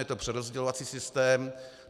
Je to přerozdělovací systém.